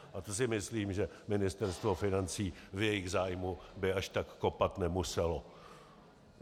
A to si myslím, že Ministerstvo financí v jejich zájmu by až tak kopat nemuselo.